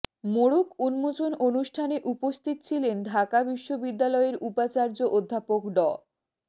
মোড়ক উন্মোচন অনুষ্ঠানে উপস্থিত ছিলেন ঢাকা বিশ্ববিদ্যালয়ের উপাচার্য অধ্যাপক ড